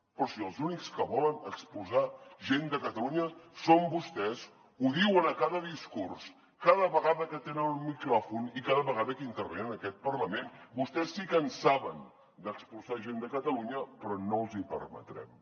però si els únics que volen expulsar gent de catalunya són vostès ho diuen a cada discurs cada vegada que tenen un micròfon i cada vegada que intervenen en aquest parlament vostès sí que en saben d’expulsar gent de catalunya però no els hi permetrem